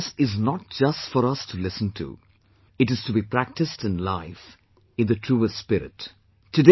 What they tell us is not just for us to listen to; it is to be practised in life in the truest spirit